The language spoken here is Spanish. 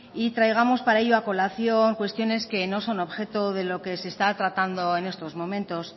y traigamos para ello a colación cuestiones que no son objeto de lo que se está tratando en estos momentos